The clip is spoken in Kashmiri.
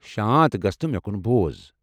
شانت گژھ تہٕ مےٚ كُن بوز ۔